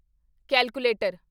calculator